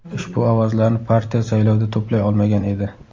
Ushbu ovozlarni partiya saylovda to‘play olmagan edi.